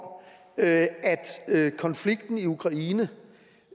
at konflikten i ukraine